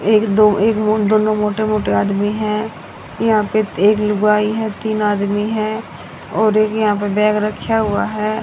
एक दो एक दोनों मोटे मोटे आदमी हैं यहां पे एक लुगाई है तीन आदमी है और यहां पे बैग रख्या हुआ है।